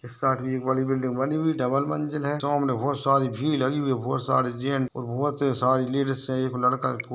इस साईंड भी एक बड़ी बिल्डिंग बनी हुई है डबल मंजिल है| सामने बहुत सारी भीड़ लगी हुई है बहुत सारे जेंट्स और बहुत सारी लडिसे हैं| एक लड़का--